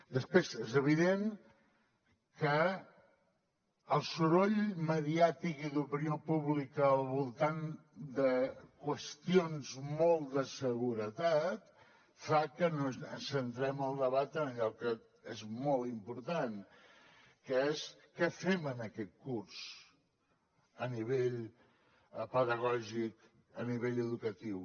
després és evident que el soroll mediàtic i d’opinió pública al voltant de qüestions molt de seguretat fa que centrem el debat en allò que és molt important que és què fem en aquest curs a nivell pedagògic a nivell educatiu